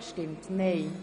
Enthalten